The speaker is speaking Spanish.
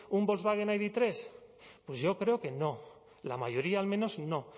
un volkswagen idhiru pues yo creo que no la mayoría al menos no